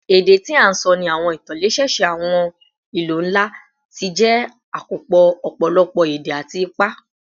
Èdè tí a ń sọ ní àwọn ìtòlẹ́sẹẹsẹ àwọn ìlú ńlá ti jẹ́ àkópọ̀ ọ̀pọ̀lọpọ̀ èdè àti ipa